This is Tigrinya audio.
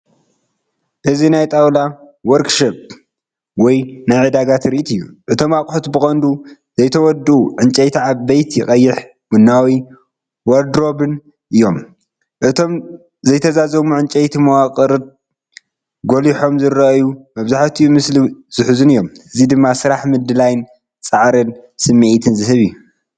እዚ ናይ ጣውላ ወርክሾፕ ወይ ናይ ዕዳጋ ትርኢት እዩ። እቶም ኣቑሑት ብቐንዱ ዘይተወድኡ ዕንጨይቲ ዓበይቲ ቀይሕ ቡናዊ ዋርድሮብን እዮም። እቶም ዘይተዛዘሙ ዕንጨይቲ መዋቕራት ጐሊሖም ዝረኣዩን መብዛሕትኡ ምስሊ ዝሕዙን እዮም። እዚ ድማ ስራሕ ምድላይን ጻዕርን ስምዒት ዝህብ እዩ።